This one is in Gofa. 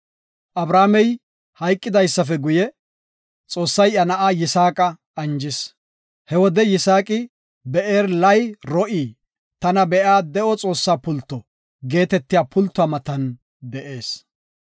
Abrahaamey hayqidaape guye, Xoossay iya na7a Yisaaqa anjis. He wode Yisaaqi, Beer-lay-ro7i (Tana Be7iya De7o Xoossa Pulto) geetetiya pultuwa matan de7ees.